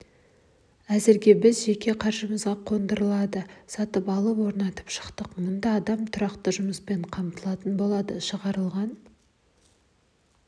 әзірге біз жеке қаржымызға қондырғыларды сатып алып орнатып шықтық мұнда адам тұрақты жұмыспен қамтылатын болады шығарылған